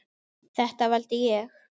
Þetta valdi ég.